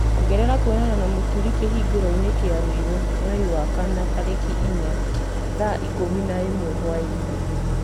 ongerera kwonana na mũturi kĩhunguro-inĩ kĩa ruiru mweri wa kana tarĩki inya thaa ikũmi na ĩmwe hwaĩ-inĩ